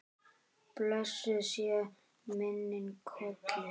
Blessuð sé minning Kollu.